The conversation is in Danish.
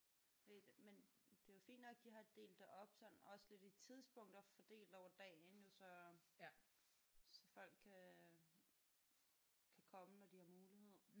Fordi men det er jo fint nok de har delt det op sådan også lidt i tidspunkter fordelt over dagen jo så så folk kan kan komme når de har mulighed